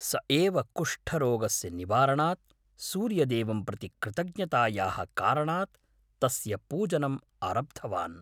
सः एव कुष्ठरोगस्य निवारणात् सूर्यदेवं प्रति कृतज्ञतायाः कारणात् तस्य पूजनम् आरब्धवान्।